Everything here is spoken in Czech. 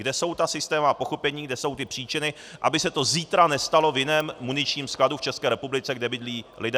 Kde jsou ta systémová pochybení, kde jsou ty příčiny, aby se to zítra nestalo v jiném muničním skladu v České republice, kde bydlí lidé.